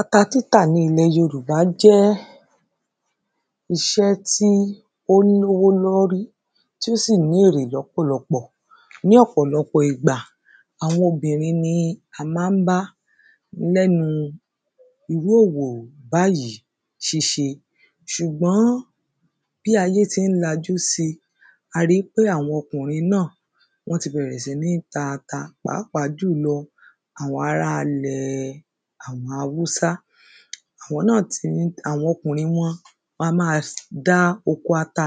Ata títà ní ilẹ̀ yorùbá jẹ́ iṣẹ́ tí ó lówó lórí tí ó sì ní èrè lọ́pọ̀lọpọ̀ ní ọ̀pọ̀lọpọ̀ ìgbà àwọn obìnrin ni a má ń bá lẹ́nu irú òwò báyìí ṣíṣe ṣùgbọ́n bí ayé tí ń lajú sí a rí wípé àwọn ọkùnrin náà wọ́n ti bẹ̀rẹ̀ sí ní ta ata pàápàá jùlọ àwọn ará ilẹ̀ àwọn haúsá. Àwọn náà tí ń àwọn ọkùnrin wọn wọn a má dá oko ata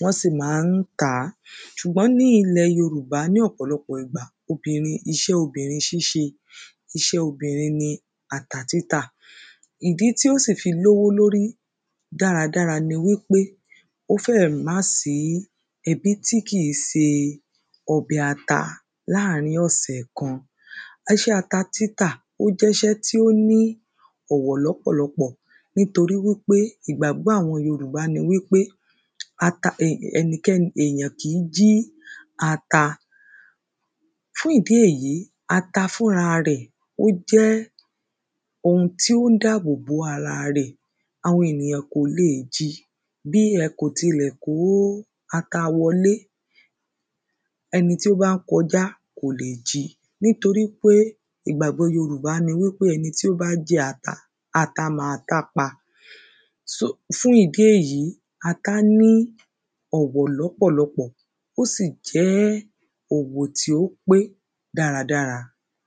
wọ́n sì má ń tà á. Ṣùgbọ́n ní ilẹ̀ yorùbá ní ọ̀pọ̀lọpọ̀ ìgbà obìnrin iṣẹ́ obìnrin ṣíṣe iṣẹ́ obìnrin ni ata títà. Ìdí tí ó sì fi lówó lórí dára dára ni pé ó fẹ̀ má sí ẹbí tí kì í se ọbẹ̀ ata láàrín ọ̀sẹ̀ kan. Iṣẹ́ ata títà ó jẹ́ iṣẹ́ tí ó ní òwò lọ́pọ̀lọpọ̀ nítoríwípé ìgbàgbọ́ àwọn yorùbá ni ata ẹnikẹ́ni èyàn kì í jí ata. Fún ìdí èyí ata fúnra rẹ̀ ó jẹ́ ohun tí ó ń dáàbò bo ara rẹ̀ àwọn ènìyàn kò le jí bí ẹ kò tilẹ̀ kó ata wọlé ẹni tó bá kọjá kò lè jí nítorípé ìgbàgbọ́ yorùbá ni ẹni tó bá jí ata ata má tá pa. So fún ìdí èyí ata ní ọ̀wọ̀ lọ́pọ̀lọpọ̀ ó sì jẹ́ òwò tí ó pé dáradára.